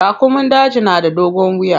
Raƙumun daji na da dogon wiya.